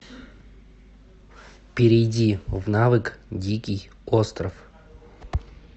перейди в навык дикий остров